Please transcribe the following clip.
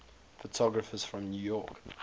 photographers from new york